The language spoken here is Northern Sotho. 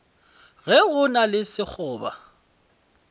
ge go na le sekgoba